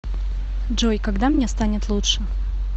джой когда мне станет лучше